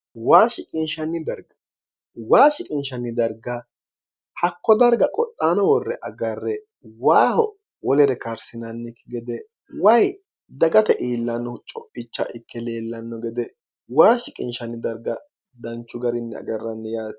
waa shiqinshanni darga hakko darga qodhaano worre agarre waaho wolere karsinannikki gede way dagate iillannohu cophicha ikke leellanno gede waa shiqinshanni darga danchu garinni agarranni yaati